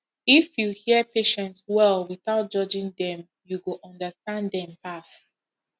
if you hear patient well without judging dem you go understand dem pass